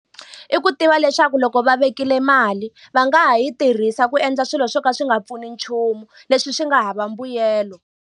I ku tiva leswaku loko va vekile mali, va nga ha yi tirhisa ku endla swilo swo ka swi nga pfuni nchumu, leswi swi nga hava mbuyelo.